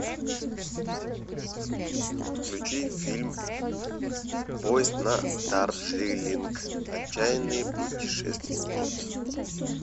включи фильм поезд на дарджилинг отчаянные путешественники